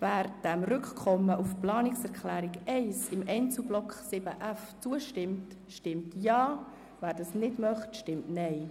Wer dem Rückkommen auf die Planungserklärung 1 im Einzelblock 7.f zustimmt, stimmt Ja, wer das nicht möchte, stimmt Nein.